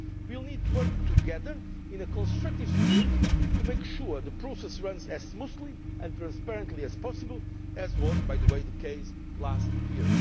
We will need to work together in a constructive spirit to make sure the process runs as smoothly and transparently as possible, as was, by the way, the case last year.